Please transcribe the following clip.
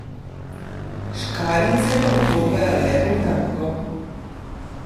Škarjice pa ubogajo le Bogdanko.